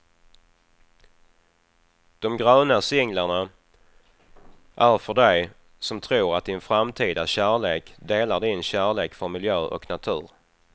De gröna singlarna är för dig som tror att din framtida kärlek delar din kärlek för miljö och natur.